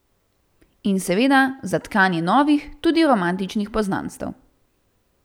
In seveda za tkanje novih, tudi romantičnih poznanstev.